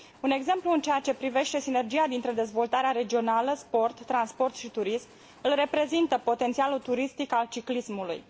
Un exemplu în ceea ce privește sinergia dintre dezvoltarea regională, sport, transport și turism, îl reprezintă potențialul turistic al ciclismului.